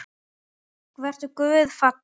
Vertu guði falinn.